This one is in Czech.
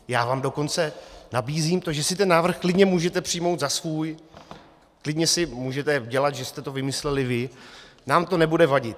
Já vám dokonce nabízím to, že si ten návrh klidně můžete přijmout za svůj, klidně si můžete dělat, že jste to vymysleli vy, nám to nebude vadit.